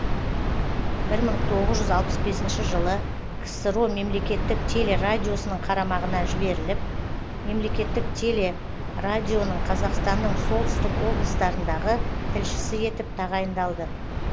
бір мың тоғыз жүз алпыс бесінші жылы ксро мемлекеттік телерадиосының қарамағына жіберіліп мемлекеттік телерадионың қазақстанның солтүстік облыстарындағы тілшісі етіп тағайындалды